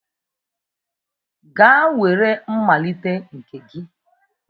Gaa were mmalite nke gị